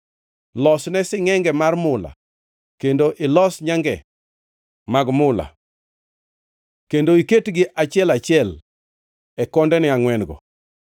Losne singʼenge mar mula kendo ilos nyange mag mula kendo iketgi achiel achiel e kondene angʼwen-go.